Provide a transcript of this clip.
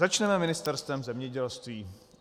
Začneme Ministerstvem zemědělství.